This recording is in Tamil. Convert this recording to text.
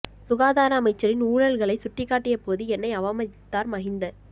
சுகாதார அமைச்சின் ஊழல்களை சுட்டிக் காட்டிய போது என்னை அவமதித்தார் மஹிந்த